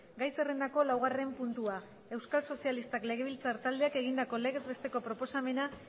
gai zerrendako laugarren puntua euskal sozialistak legebiltzar taldeak egindako legez besteko proposamena